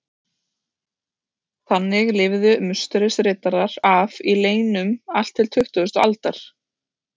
Þannig lifðu Musterisriddarar af í leynum allt til tuttugustu aldar.